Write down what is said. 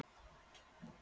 Eir, spilaðu tónlist.